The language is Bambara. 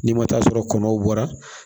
N'i ma taa sɔrɔ kɔnɔw bɔra